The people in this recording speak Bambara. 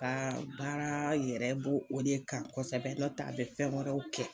Ka baara yɛrɛ b'o de kan kosɛbɛ nɔtɛ a be fɛn wɛrɛw kɛ.